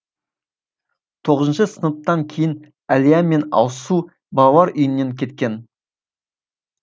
тоғызыншы сыныптан кейін әлия мен алсу балалар үйінен кеткен